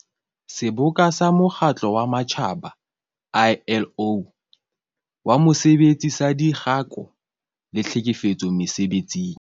Seboka sa Mokgatlo wa Matjhaba, ILO, wa Mosebetsi saDikgako le Tlhekefetso Mese-betsing.